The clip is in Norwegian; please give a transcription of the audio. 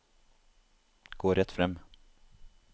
gå rett frem